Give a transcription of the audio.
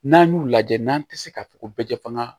N'an y'u lajɛ n'an tɛ se ka fɔ ko bɛ kɛ fanga